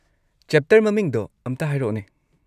Chapter ꯃꯃꯤꯡꯗꯣ ꯑꯝꯇ ꯍꯥꯢꯔꯛꯑꯣꯅꯦ ꯫